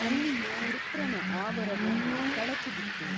ಅಲ್ಲಿಯೂ ವೃತ್ರನ ಆವರವೊಂದು ಕಳಚಿ ಬಿತ್ತು.